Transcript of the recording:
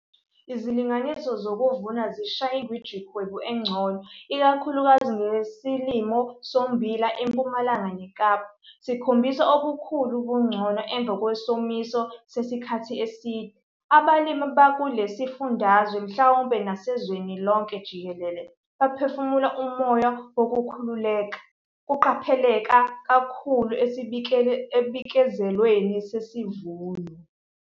Izilinganiso zokuvuna zishaye ingwijikhwebu engcono, ikakhulukazi ngesilimo sommbila eMpumalanga neKapa, sikhombisa obukhulu ubungcono emva kwesomiso sesikhathi eside. Abalimi abakule sifundazwe mhlawumbe nasezweni lonke jikelele baphefumula umoya wokukhululeka, kuqapheleka kakhulu esibikezelweni sesivuno.